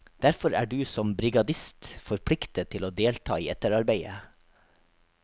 Derfor er du som brigadist forpliktet til å delta i etterarbeidet.